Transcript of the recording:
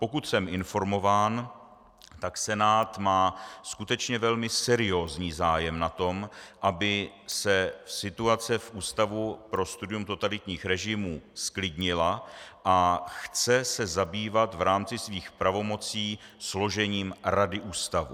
Pokud jsem informován, tak Senát má skutečně velmi seriózní zájem na tom, aby se situace v Ústavu pro studium totalitních režimů zklidnila, a chce se zabývat v rámci svých pravomocí složením rady ústavu.